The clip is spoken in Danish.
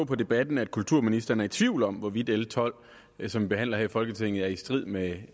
på debatten at kulturministeren er i tvivl om hvorvidt l tolv som vi behandler her i folketinget er i strid med